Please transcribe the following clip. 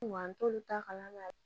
Maa n t'olu ta ka na